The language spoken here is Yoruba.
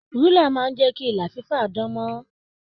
Rùlà máa n jẹ kí ìlà fifa dàn mọ́ràn.